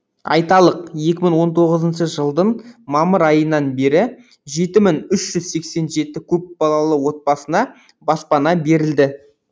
айталық екі мың он тоғызыншы жылдың мамыр айынан бері жеті мың үш жүз сексен жеті көпбалалы отбасына баспана берілді